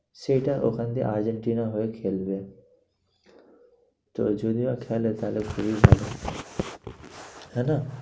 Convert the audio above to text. সেটা ওখান দিয়ে আর্জেন্টিনার হয়ে খেলবে তো যদিও খেলে তাহলে তাই না?